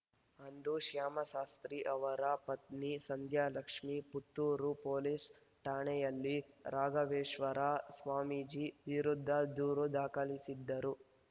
ಅಂದು ಶ್ಯಾಮಶಾಸ್ತ್ರಿ ಅವರ ಪತ್ನಿ ಸಂಧ್ಯಾ ಲಕ್ಷ್ಮೇ ಪುತ್ತೂರು ಪೊಲೀಸ್‌ ಠಾಣೆಯಲ್ಲಿ ರಾಘವೇಶ್ವರ ಸ್ವಾಮೀಜಿ ವಿರುದ್ಧ ದೂರು ದಾಖಲಿಸಿದ್ದರು